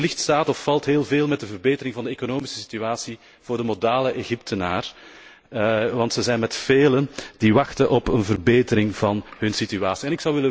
Wellicht staat of valt heel veel met de verbetering van de economische situatie voor de modale Egyptenaar, want ze zijn met velen die wachten op een verbetering van hun situatie.